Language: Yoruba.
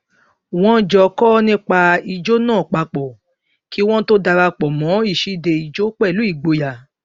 wọn jọ kọ nípa ijó náà papọ kí wọn tó dara pọ mọ ìṣíde ìjó pẹlú ìgboyà